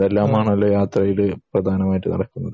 അതെല്ലാമാണല്ലേ യാത്രയിൽ പ്രധാനമായിട്ടും നടക്കുന്നത്